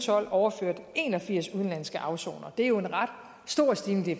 tolv overført en og firs udenlandske afsonere og det er jo en ret stor stigning det